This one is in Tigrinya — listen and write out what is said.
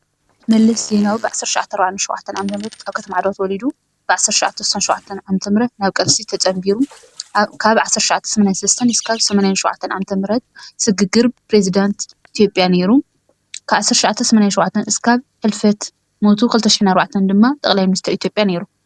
መለስ ዜናዊ 1947 ዓ.ም ኣብ ከተማ ዓድዋ ተወሊዱ ብ1967 ዓ.ም ናብ ቃልሲ ተጸምቢሩ ካብ 1983 ክሳብ 1987 ዓ.ም ስግግር ፕረዝደንት ኢትዮጲያ ኔሩ ካብ 1987 እስካብ ሕልፈት ሞቱ 2004 ድማ ጠቅላይ ሚኒስተር ኢትዮጲያ ኔሩ ።